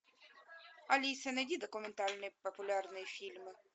алиса найди документальные популярные фильмы